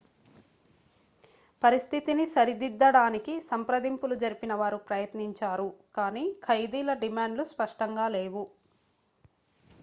పరిస్థితిని సరిదిద్దడానికి సంప్రదింపులు జరిపిన వారు ప్రయత్నించారు కానీ ఖైదీల డిమాండ్లు స్పష్టంగా లేవు